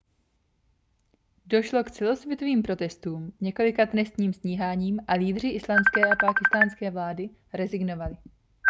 došlo k celosvětovým protestům několika trestním stíháním a lídři islandské a pákistánské vlády rezignovali